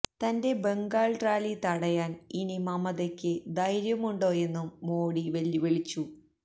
തന്റെ ബംഗാൾ റാലി തടയാന് ഇനി മമതയ്ക്ക് ധൈര്യമുണ്ടോയെന്നും മോഡി വെല്ലുവിളിച്ചു